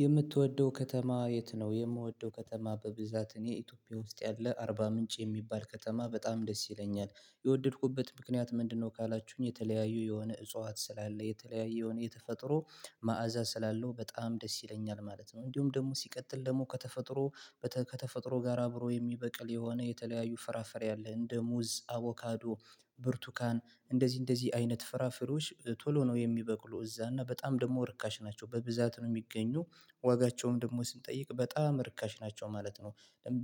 የምትወደው ከተማ የት ነው? የምወደው ከተማ በብዛት እኔ ኢትዮጵያ ውስጥ ያለ አርባ ምንጭ የሚባል ከተማ በጣም ደስ ይለኛል የወደድኩበት ምክንያት ምንድነው ካላችሁኝ የተለያዩ የሆነ እጽዋት ስላለ የተለያዩ የሆነ የተፈጥሮ መዓዛ ስላለው በጣም ደስ ይለኛል ማለት ነው። እንዲሁም ደግሞ ሲቀጥል ደግሞ ከተፈጥሮ ከተፈጥሮ ጋር አብሮ የሚበቅል የሆነ የተለያዩ ፈራፈሪ አለ እንደ ሙዝ አቮካዶ ብርቱካን እንደዚህ እንደዚህ አይነት ፍራፍሮች ቶሎ ነው የሚበቅሉ እዛ እና በጣም ደግሞ ርካሽ ናቸው በብዛት ነው የሚገኙ ዋጋቸውም ደግሞ ስንጠይቅ በጣም ርካሽ ናቸው ማለት ነው።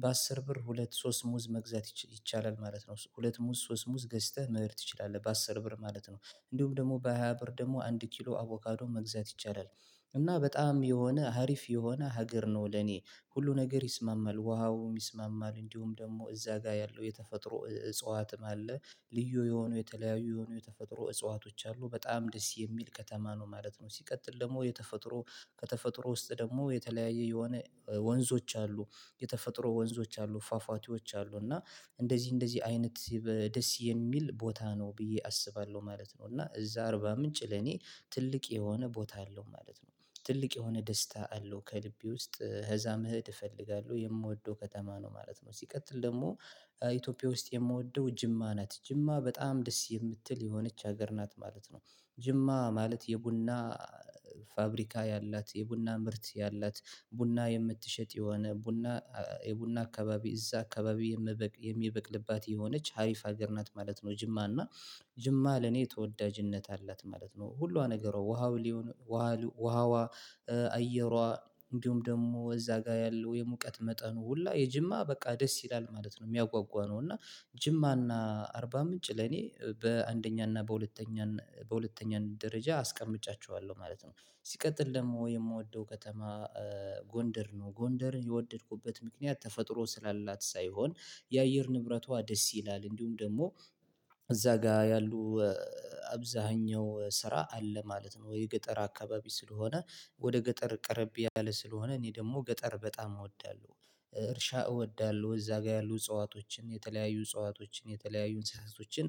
በአስር ብር ሁለት ሶስት ሙዝ መግዛት ይቻላል ማለት ነው። ሁለት ሙስ ሶስት ሙስ ገዝተህ መሄድ ትችላለህ በአስር ብር ማለት ነው እንዲሁም ደግሞ በሃያ ብር ደግሞ አንድ ኪሎ አቮካዶ መግዛት ይቻላል እና በጣም የሆነ ሀሪፍ የሆነ ሀገር ነው ለኔ ሁሉ ነገር ይስማማል ውሃውም ይስማማል እንዲሁም ደግሞ እዛ ጋር ያለው የተፈጥሮ እጽዋትም አለ ልዩ የሆኑ የተለያዩ የሆኑ የተፈጥሮ እጽዋቶች አሉ በጣም ደስ የሚል ከተማ ነው ማለት ነው። ሲቀጥል ደግሞ የተፈጥሮ ከተፈጥሮ ውስጥ ደግሞ የተለያየ የሆነ ወንዞች አሉ የተፈጥሮ ወንዞች አሉ ፏፏቲዎች አሉ እና እንደዚህ እንደዚህ አይነት ደስ የሚል ቦታ ነው ብዬ አስባለሁ ማለት ነው እና እዛ አርባ ምንጭ ለኔ ትልቅ የሆነ ቦታ አለው ማለት ነው ትልቅ የሆነ ደስታ አለው ከልቤ ውስጥ ኸዛ መሄድ እፈልጋለሁ የምወደው ከተማ ነው ማለት ነው። ሲቀጥል ደግሞ ኢትዮጵያ ውስጥ የምወደው ጅማ ና። ጅማ በጣም ደስ የምትል የሆነች ሀገር ናት ማለት ነው ጅማ ማለት የቡና ፋብሪካን ያላት የቡና ምርት ያላት ቡና የምትሸጥ የሆነ ቡና የቡና አካባቢ እዛ አካባቢ የምበቅ የሚበቅልባት የሆነች ሀሪፍ ሀገር ናት ማለት ነው ጅማ እና ጅማ ለኔ ተወዳጅነት አላት ማለት ነው ሁሏ ነገሯ ውሃው ሊሆን ውሃዋ አየሯ እንዲሁም ደግሞ እዛ ጋር ያለው የሙቀት መጠኑ ሁላ የጅማ በቃ ደስ ይላል ማለት ነው። የሚያጓጓነው እና ጅማና አርባ ምንጭ ለኔ በአንደኛና በሁለተኛ በሁለተኛ ደረጃ አስቀምጫቸዋለሁ ማለት ነው። ሲቀጥል ደግሞ የምወደው ከተማ ጎንደር ነው ጎንደርን የወደድኩበት ምክንያት ተፈጥሮ ስላላት ሳይሆን የአየር ንብረቷ ደስ ይላል እንዲሁም ደግሞ እዛ ጋር ያሉ አብዛኛው ስራ አለ ማለት ነው ወደ ገጠር አካባቢ ስለሆነ ወደ ገጠር ቀረብ ያለ ስለሆነ እኔ ደግሞ ገጠር በጣም እወዳለሁ እርሻ እወዳለሁ እዛ ጋር ያሉ እጽዋቶችን የተለያዩ እጽዋቶችን የተለያዩ እንስሳቶችን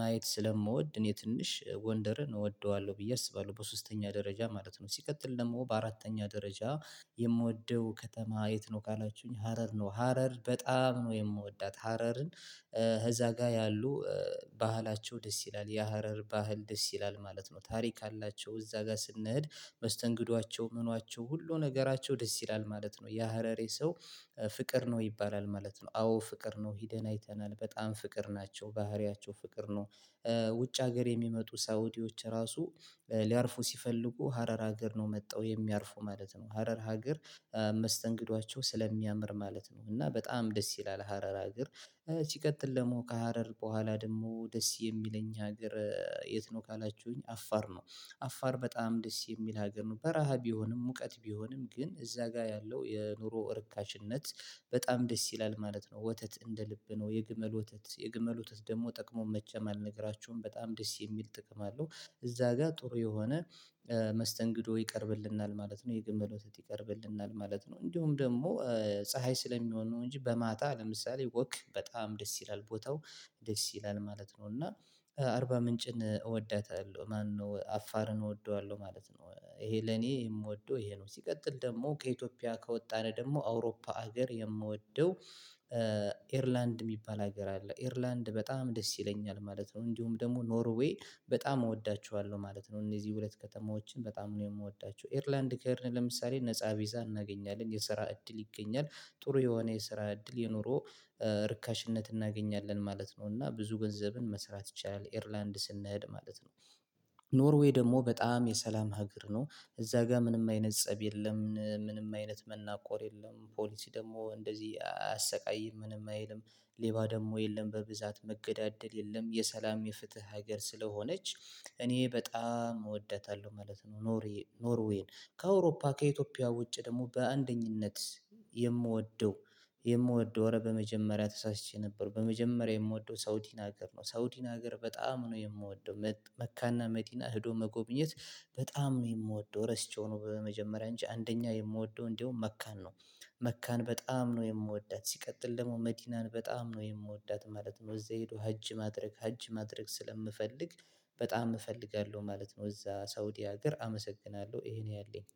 ማየት ስለምወድ እኔ ትንሽ ጎንደርን እወደዋለሁ ብዬ አስባለሁ በሶስተኛ ደረጃ ማለት ነው ሲቀጥል ደግሞ በአራተኛ ደረጃ የምወደው ከተማ የት ነው ካላችሁኝ ሀረር ነው። ሀረር በጣም ነው የምወዳት ሀረርን ኸዛ ጋር ያሉ ባህላቸው ደስ ይላል የሀረር ባህል ደስ ይላል ማለት ነው ታሪክ አላቸው እዛ ጋር ስንሄድ መስተንግዷቸው ምኗቸው ሁሉ ነገራቸው ደስ ይላል ማለት ነው የሀረሬ ሰው ፍቅር ነው ይባላል ማለት ነው አዎ ፍቅር ነው ሄደን አይተናል በጣም ፍቅር ናቸው ባህሪያቸው ፍቅር ነው። ውጭ ሀገር የሚመጡ ሳውዲዎች ራሱ ሊያርፉ ሲፈልጉ ሀረር ሀገር ነው መጠው የሚያርፉ ማለት ነው። ሀረር ሀገር መስተንግዷቸው ስለሚያምር ማለት ነው እና በጣም ደስ ይላል ሀረር አገር ሲቀጥል ደግሞ ከሀረር በኋላ ደግሞ ደስ የሚለኝ ሀገር የት ነው ካላችሁኝ አፋር ነው አፋር በጣም ደስ የሚል ሀገር ነው በረሃ ቢሆንም ሙቀት ቢሆንም ግን እዛ ጋር ያለው የኑሮ እርካሽነት በጣም ደስ ይላል ማለት ነው። ወተት እንደ ልብ ነው የግመል ወተት የግመል ወተት ደግሞ ጥቅሙን መቼም አልነግራችሁም በጣም ደስ የሚል ጥቅም አለው። እዛ ጋር ጥሩ የሆነ መስተንግዶ ይቀርብልናል ማለት ነው። የግመል ወተት ይቀርብልናል ማለት ነው። እንዲሁም ደግሞ ፀሀይ ስለሚሆን ነው እንጂ በማጣ ለምሳሌ ወክ በጣም ደስ ይላል ቦታው ደስ ይላል ማለት ነው እና አርባ ምንጭን እወዳታለሁ ማነው አፋርን እወደዋለሁ ማለት ነው ይሄ ለኔ የምወደው ይሄ ነው ሲቀጥል ደግሞ ከኢትዮጵያ ከወጣን ደግሞ አውሮፓ ሀገር የምወደው ኤርላንድ የሚባል ሀገር አለ ኤርላንድ በጣም ደስ ይለኛል ማለት ነው። እንዲሁም ደግሞ ኖርዌይ በጣም እወዳቸዋለሁ ማለት ነው። እነዚህ ሁለት ከተማዎችን በጣም ነው የምወዳቸው ኤርላንድ ከኤርል ለምሳሌ ነፃ ቢዛ እናገኛለን የስራ እድል ይገኛል ጥሩ የሆነ የስራ እድል የኖሮ ርካሽነት እናገኛለን ማለት ነው እና ብዙ ገንዘብን መስራት ይቻላል ኤርላንድ ስንሄድ ማለት ነው። ኖርዌይ ደግሞ በጣም የሰላም ሀገር ነው። እዛ ጋር ምንም አይነት ፀብ የለም ምንም አይነት መናቆር የለም ፖሊሲ ደግሞ እንደዚህ አያሰቃይም ምንም አይልም ሌባ ደግሞ የለም በብዛት መገዳደል የለም የሰላም የፍትህ ሀገር ስለሆነች እኔ በጣም እወዳታለሁ ማለት ነው። ኖርዪ ኖርዌይን ከአውሮፓ ከኢትዮጵያ ውጪ ደግሞ በአንደኝነት የምወደው የምወደው ኧረ በመጀመሪያ ተሳስቼ ነበር በመጀመሪያ የምወደው ሳውዲን ሀገር ነው ሳውዲን ሀገር በጣም ነው የምወደው መካና መዲና ሄዶ መጎብኘት በጣም የምወደው ረስቸው ነው በመጀመሪያ እንጂ አንደኛ የምወደው እንደውም መካን ነው። መካን በጣም ነው የምወዳት ሲቀጥል ደግሞ መዲናን በጣም ነው የምወዳት ማለት ነው። እዛ ሄዶ ሀጅ ማድረግ ሀጅ ማድረግ ስለምፈልግ በጣም እፈልጋለሁ ማለት ነው እዛ ሳውዲ ሀገር አመሰግናለሁ ይሄን ያለኝ